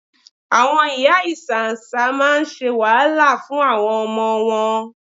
Àwọn ìyá ìsáǹsá máa ń ṣe wàhálà fún àwọn ọmọ wọn.